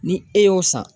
Ni e y'o san